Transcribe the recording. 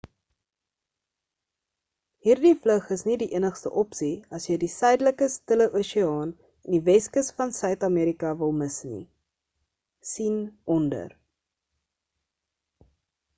hierdie vlug is nie die enigste opsie as jy die suidelike stille oseaan en die weskus van suid-amerika wil mis nie. sien onder